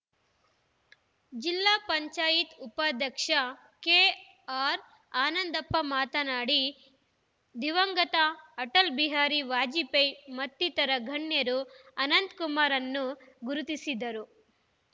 ಜಿಲ್ಲಾ ಪಂಚಾಯ್ತ್ ಉಪಾಧ್ಯಕ್ಷ ಕೆಅರ್‌ಆನಂದಪ್ಪ ಮಾತನಾಡಿ ದಿವಂಗತ ಅಟಲ್‌ ಬಿಹಾರಿ ವಾಜಪೇಯಿ ಮತ್ತಿತರ ಗಣ್ಯರು ಅನಂತಕುಮಾರ್‌ರನ್ನು ಗುರುತಿಸಿದ್ದರು